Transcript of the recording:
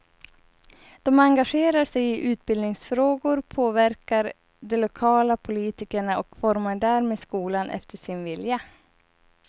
De engagerar sig i utbildningsfrågor, påverkar de lokala politikerna och formar därmed skolan efter sin vilja.